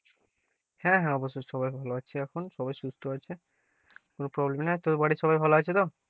হ্যাঁ হ্যাঁ, অবশ্যই সবাই ভালো আছি এখন, সবাই সুস্থ আছে, কোনো problem নাই, তোর বাড়ির সবাই ভালো আছে তো,